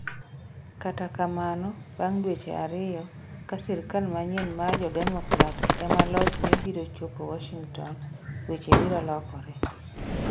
Kata kamano, bang ' dweche ariyo, ka sirkal manyien ma jo Democrat ema lochoe biro chopo Washington, weche biro lokore.